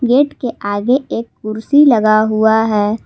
Gate के आगे एक कुर्सी लगा हुआ है।